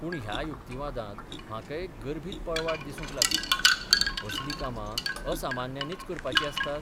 पूण ह्या युक्तिवादांत म्हाका एक गर्भीत पळवाट दिसूंक लागली असल कामां असामान्यांनीच करपाच आसतात.